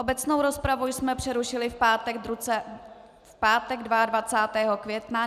Obecnou rozpravu jsme přerušili v pátek 22. května.